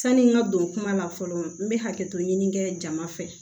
Sani n ka don kuma la fɔlɔ n bɛ hakɛto ɲini kɛ jama fɛ